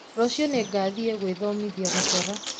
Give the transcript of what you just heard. Rũciũ nĩngathiĩ gwĩthomithia gũcora